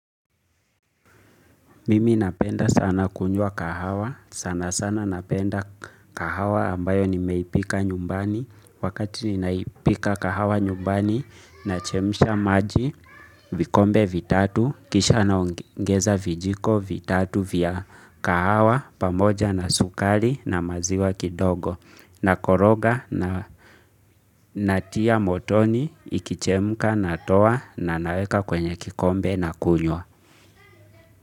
Mimi napenda sana kunywa kahawa. Sana sana napenda kahawa ambayo nimeipika nyumbani. Wakati ninaipika kahawa nyumbani nachemsha maji vikombe vitatu. Kisha naongeza vijiko vitatu vya kahawa pamoja na sukari na maziwa kidogo. Nakoroga na natia motoni ikichemka natoa na naweka kwenye kikombe nakunywa.